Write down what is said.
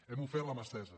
hem ofert la mà estesa